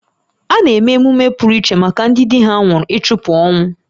A na-eme emume pụrụ iche maka ndị di ha nwụrụ ịchụpụ ọnwụ